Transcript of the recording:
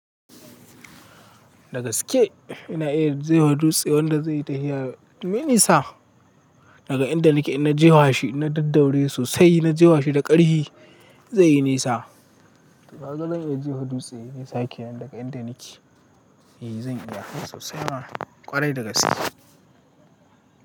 Dagaske ina iya jefa dutse wanda zai yi tafiya mai nisa. Daga inda nake in na jefashi daddaure sosai na je fashi da ƙarfi zai yi nisa. Kaga zan iya jefa dutse yay nisa ke nan daga inda nake, eh zan iya sosai ma ƙwarai dagaske.